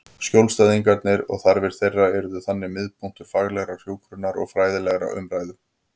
Skjólstæðingarnir og þarfir þeirra yrðu þannig miðpunktur faglegrar hjúkrunar og fræðilegrar umræðu.